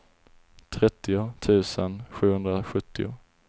trettio tusen sjuhundrasjuttio